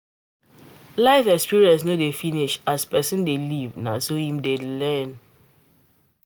Life experience no dey finish, as person dey live na so im dey learn